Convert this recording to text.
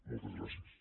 moltes gràcies